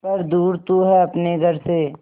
पर दूर तू है अपने घर से